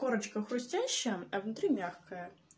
корочка хрустящая а внутри мягкая